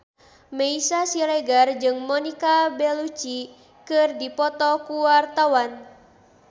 Meisya Siregar jeung Monica Belluci keur dipoto ku wartawan